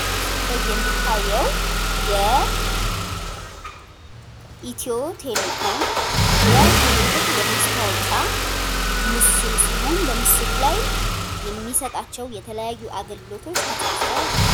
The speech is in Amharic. ምስሉ ላይ የሚታየው የኢትዮ ቴሌኮም የቴሌብር የማስታወቂያ ምስል ሲሆን በምስሉ ላይም የሚሰጣቸው የተለያዩ አገልግሎቶች ተዘርዝረው